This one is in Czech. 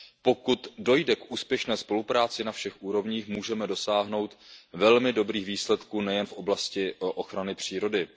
Pokud dojde k úspěšné spolupráci na všech úrovních, můžeme dosáhnout velmi dobrých výsledků nejen v oblasti ochrany přírody.